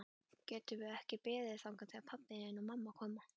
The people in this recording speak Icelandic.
Getum við ekki beðið þangað til pabbi og mamma koma?